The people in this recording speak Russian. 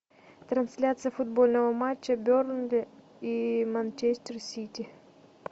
трансляция футбольного матча бернли и манчестер сити